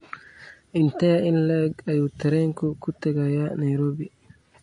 intee in le'eg ayuu tareenku ku tagayaa nairobi